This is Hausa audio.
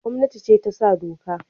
Gomnati ce ta sa doka